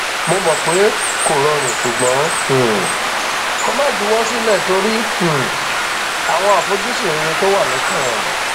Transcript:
mo mọ pé kò rọrùn ṣùgbọn um kó má juwọ sílẹ torí um àwọn àfojúsùn rere tó wà lọkàn ẹ